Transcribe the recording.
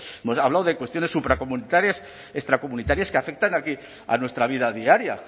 hemos hablado de cuestiones supracomunitarias extracomunitarias que afectan a nuestra vida diaria